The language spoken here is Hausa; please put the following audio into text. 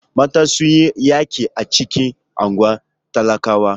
Matan sun yi yaƙi a cikin unguwar talakawa.